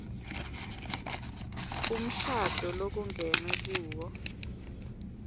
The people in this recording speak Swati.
umshado lokungenwe kuwo